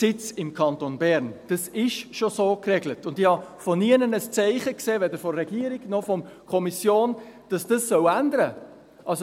...]» Das ist schon so geregelt, und ich habe von nirgends ein Zeichen gesehen, weder von der Regierung noch von der Kommission, dass sich das ändern soll.